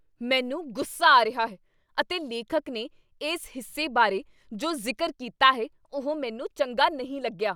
ਮੈਨੂੰ ਗੁੱਸਾ ਆ ਰਿਹਾ ਹੈ ਅਤੇ ਲੇਖਕ ਨੇ ਇਸ ਹਿੱਸੇ ਬਾਰੇ ਜੋ ਜ਼ਿਕਰ ਕੀਤਾ ਹੈ ਉਹ ਮੈਨੂੰ ਚੰਗਾ ਨਹੀਂ ਲੱਗਿਆ।